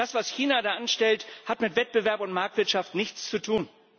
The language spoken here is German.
Das, was China da anstellt, hat mit Wettbewerb und Marktwirtschaft nichts zu tun.